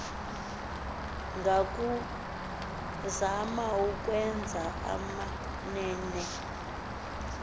ngakuzama ukwenza amamene